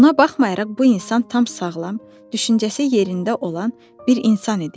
Buna baxmayaraq bu insan tam sağlam, düşüncəsi yerində olan bir insan idi.